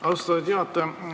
Austatud juhataja!